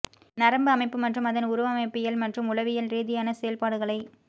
நரம்பு அமைப்பு மற்றும் அதன் உருவமைப்பியல் மற்றும் உளவியல் ரீதியான செயல்பாடுகளை